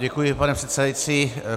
Děkuji, pane předsedající.